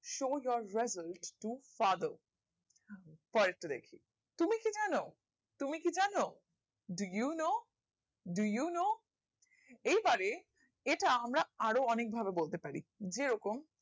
show your result to father পরের টা দেখি তুমি কি জানো তুমি কি জানো Do you know do you know এই বাড়ে এটা আমরা আরো অনেক ভাবে বলতে পারি যেরকম